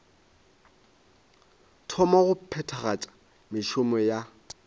thoma go phethagatša mešomo ya